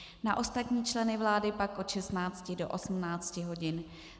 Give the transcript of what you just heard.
Na ostatní členy vlády pak od 16 do 18 hodin.